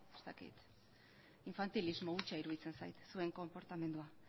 infantilismo hutsa iruditzen zait zuen konportamendua